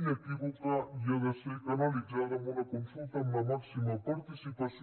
inequívoca i ha de ser canalitzada amb una consulta amb la màxima participació